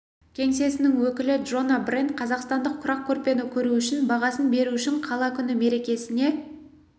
кеңсесінің өкілі джона брент қазақстандық құрақ көрпені көру үшін бағасын беру үшін қала күні мерекесіне